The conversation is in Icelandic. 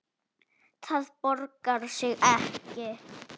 Það borgar sig ekki.